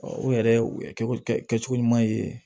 o yɛrɛ o ye kɛcogo kɛcogo ɲuman ye